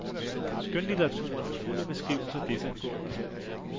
Skønlitteraturen er fuld af beskrivelser desangående.